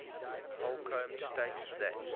holcombe states that